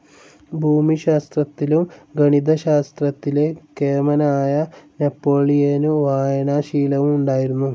ഭൂമിശാസ്ത്രത്തിലും ഗണിതശാസ്ത്രത്തിലെ കേമനായ നെപ്പോളിയനു വായനാശീലവും ഉണ്ടായിരുന്നു,.